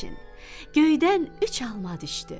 Göydən üç alma düşdü.